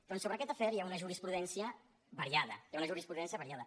doncs sobre aquest afer hi ha una jurisprudència variada hi ha una jurisprudència variada